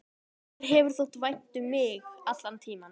Þér hefur þótt vænt um mig allan tímann.